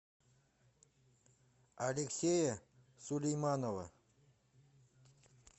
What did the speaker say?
алексея сулейманова